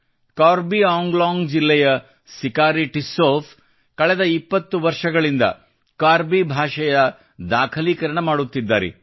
ಕಾರ್ಬಿ ಆಂಗ್ಲಾಂಗ್ ಜಿಲ್ಲೆಯ ಸಿಕಾರಿ ಟಿಸ್ಸೌ ಕಳೆದ 20 ವರ್ಷಗಳಿಂದ ಕಾರ್ಬಿ ಭಾಷೆಯ ದಾಖಲೀಕರಣ ಮಾಡುತ್ತಿದ್ದಾರೆ